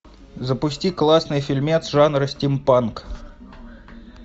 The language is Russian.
запусти классный фильмец жанра стимпанк